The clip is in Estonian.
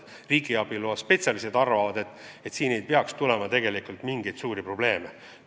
Riigiabi loa spetsialistid arvavad, et ei tohiks tulla mingeid suuri probleeme.